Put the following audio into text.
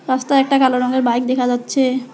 রাস্তায় একটা কালো রঙের বাইক দেখা যাচ্ছে।